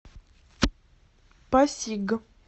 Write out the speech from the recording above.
пасиг